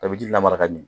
Tɔbili ji lamara ka ɲɛ